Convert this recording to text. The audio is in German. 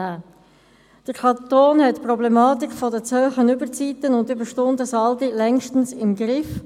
Der Kanton hat die Problematik der zu hohen Überzeiten und Überstundensaldi längstens im Griff.